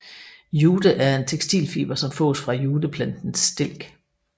Jute er en tekstilfiber som fås fra juteplantens stilk